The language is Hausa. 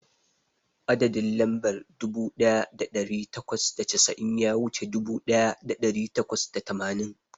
Adadin lambar dubu daya dari takwas da casa'in ya wuce dubu daya dari takwas da tamanin.